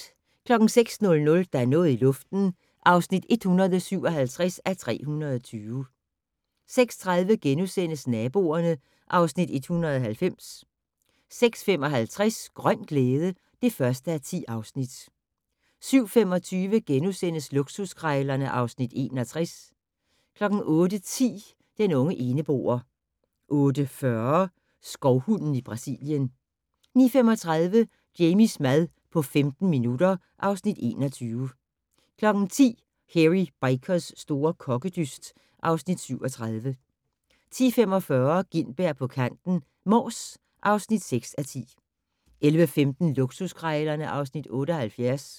06:00: Der er noget i luften (157:320) 06:30: Naboerne (Afs. 190)* 06:55: Grøn glæde (1:10) 07:25: Luksuskrejlerne (Afs. 61)* 08:10: Den unge eneboer 08:40: Skovhunden i Brasilien 09:35: Jamies mad på 15 minutter (Afs. 21) 10:00: Hairy Bikers' store kokkedyst (Afs. 37) 10:45: Gintberg på kanten - Mors (6:10) 11:15: Luksuskrejlerne (Afs. 78)